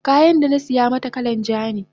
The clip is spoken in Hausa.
danasiya mata kalan ja ne